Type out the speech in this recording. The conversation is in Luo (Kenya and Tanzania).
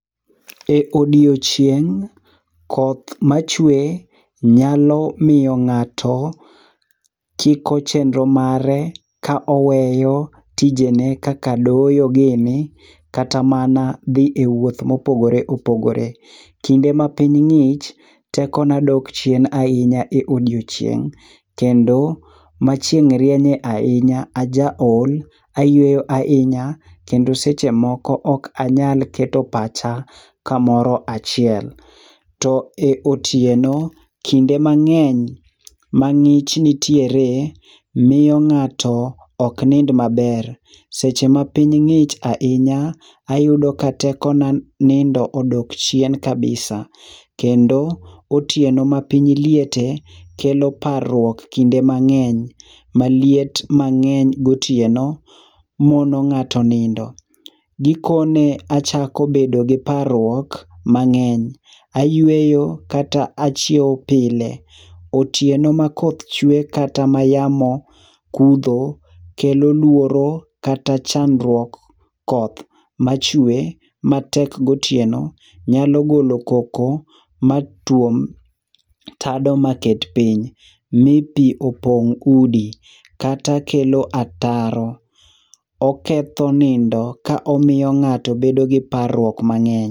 E odiechieng koth ma chwe nyalo miyo ng'ato kiko chenro mare ka oweyo tijene kaka doyo gini, kata mana dhie wuoth ma opogore opogore. Kinde ma piny ng'ich teko na dok piny ahinya e odiechieng kendo ma chieng rienye ahinya aja ol, ayueyo ahinya kendo seche moko ok anya keto pacha ka moro achiel. To e otieno kinde mang'eny ma ngich nitiere miyo ng'ato ok nind maber seche ma piny ng'ich ahinya ayudo ka teko na nindo odok chien kabisa. kendo otieno ma piny liete kelo parruok kinde mang'eny ma liet mang'eny go otieno muono ng'ato nindo. Giko ne achako bedo gi parruok mang'eny ayueyo kata chiewo pile otieno ma koth chwe kata ma yamo kudho kelo luoro kata chandruok koth machwe matek go otieno nyalo golo koko matuom tado maket piny ma pi opong udi kata kelo ataro. Oketho nindo ka omiyo ng'ato bedo gi parruok mang'eny.